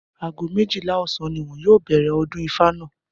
Aago méjìlá ò̩sán ni wo̩n yóò bè̩rè̩ o̩dún Ifá náà